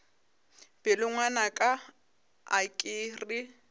pelo ngwanaka a ke re